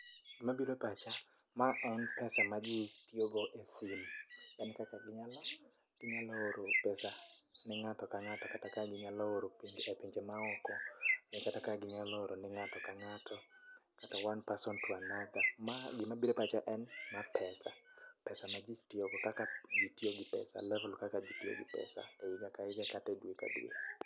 Gima bire pacha, ma en pesa ma ji tiyogo e sim. En kaka ginyalo oro pesa ne ng'ato ka ng'ato kata ka ginyalo oro penge e pinje maoko. Ni kata ka ginyalo oro ne ng'ato ka ng'ato, kata one person to another. Ma gima bire pacha en ma pesa, pesa ma ji tiyogo. Kaka ji tiyo gi pesa, level kaka ji tiyo gi pesa e higa ka higa kate dwe ka dwe.